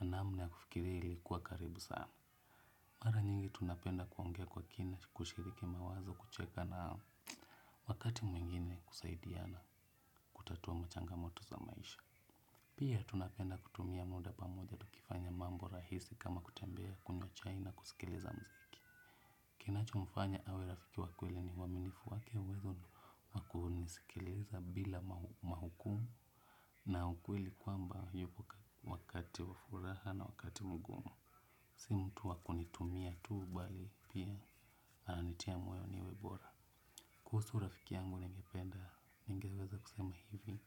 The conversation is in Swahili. namna ya kufikiri ilikuwa karibu sana. Mara nyingi tunapenda kuongea kwa kina kushiriki mawazo kucheka na wakati mwingine kusaidia na kutatua machangamoto za maisha. Pia tunapenda kutumia muda pamoja tukifanya mambo rahisi kama kutembea kunywa chai na kusikiliza mziki. Kinachomfanya awe rafiki wakweli ni waminifu wake uwezo wakunisikiliza bila mahukumu na hukweli kwamba wakati wa furaha na wakati mgumu. Si mtu wakunitumia tuu bali pia ananitia mweo niwe bora. Kuhusu rafiki yangu ningependa ningeweza kusema hivi